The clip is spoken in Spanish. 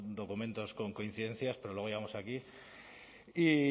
documentos con coincidencias pero luego llegamos aquí y